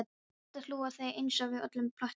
Ég skyldi hlú að þér einsog öllum mínum plöntum.